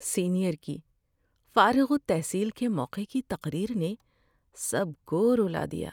Senior کی فارغ التحصیل کے موقع کی تقریر نے سب کو رلا دیا۔